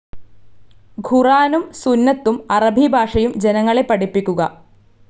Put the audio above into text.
ഖുറാനും സുന്നത്തും അറബി ഭാഷയും ജനങ്ങളെ പഠിപ്പിക്കുക.